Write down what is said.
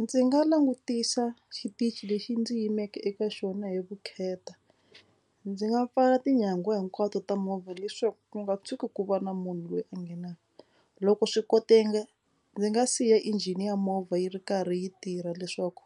Ndzi nga langutisa xitichi lexi ndzi yimeke eka xona hi vukheta. Ndzi nga pfala tinyangwa hinkwato ta movha leswaku ku nga tshuki ku va na munhu loyi a nghenaka. Loko swi koteka ndzi nga siya engine ya movha yi ri karhi yi tirha leswaku